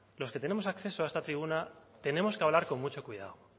los que tenemos acceso a esta tribuna tenemos que hablar con mucho cuidado